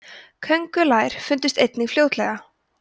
köngulær fundust einnig fljótlega